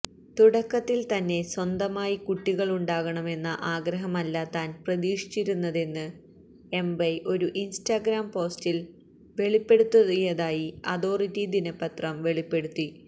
തുടക്കത്തിൽ തന്നെ സ്വന്തമായി കുട്ടികളുണ്ടാകണമെന്ന ആഗ്രഹമല്ല താൻ പ്രതീക്ഷിച്ചിരുന്നതെന്ന് എബെയ് ഒരു ഇൻസ്റ്റാഗ്രാം പോസ്റ്റിൽ വെളിപ്പെടുത്തിയതായി അതോറിറ്റി ദിനപത്രം വെളിപ്പെടുത്തി